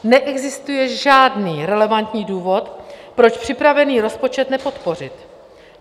Neexistuje žádný relevantní důvod, proč připravený rozpočet nepodpořit.